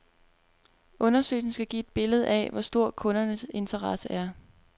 Undersøgelsen skal give et billede af, hvor stor kundernes interesse er.